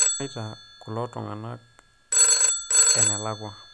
eshomotia kulo tunganak enelakua